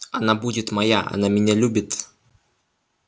она будет моя она меня любит